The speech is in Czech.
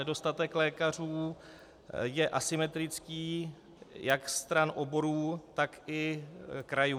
Nedostatek lékařů je asymetrický jak stran oborů, tak i krajů.